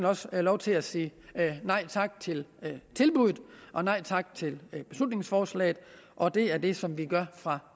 også lov til at sige nej tak til tilbuddet og nej tak til beslutningsforslaget og det er det som vi gør fra